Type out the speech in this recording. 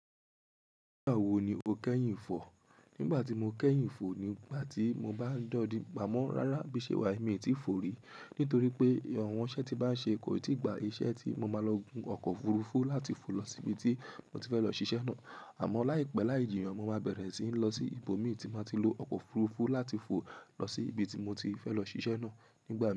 Nígbà wo ni o kẹ́yìn fò? Nígbà tí mo kẹ́yìn fò ni ìgbà tí mo bá ń do di gba mo Rárá, bíiṣe wà yí mì tí fò rí. Nítorí pé àwọn iṣẹ́ tí bá ń ṣe kò tíì gba iṣẹ́ tí mo máa lọ gun ọkọ̀ òfurufú láti fò lọ sí ibi tí mo ti fẹ́ lọ ṣiṣẹ́ náà. Àmọ́ láìpẹ́ láìjìnà mo máa bẹ̀rẹ̀ sí ní lọ sí ibòmí tí máa ti lo ọkọ̀ òfurufú láti fò lọ sí ibi tí mo ti fẹ́ lọ ṣiṣẹ́ náà nígbà náà.